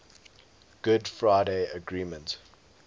good friday agreement